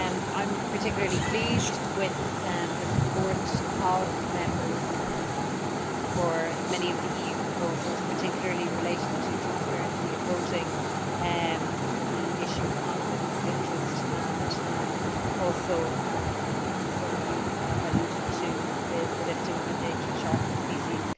I am particularly pleased with the support of Members for many of the EU proposals, particularly relating to transparency of voting, the issue of conflicts of interest, and also some of you alluded to the listing of endangered shark species.